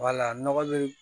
nɔgɔ be yen